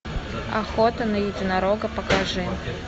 охота на единорога покажи